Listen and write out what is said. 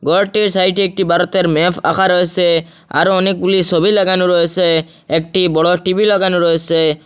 ঘরটির সাইটে একটি ভারতের ম্যাপ আঁকা রয়েসে আরও অনেকগুলি ছবি লাগানো রয়েসে একটি বড় টি_ভি লাগানো রয়েসে।